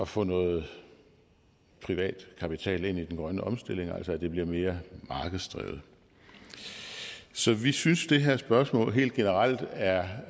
få noget privat kapital ind i den grønne omstilling altså at det bliver mere markedsdrevet så vi synes at det her spørgsmål helt generelt er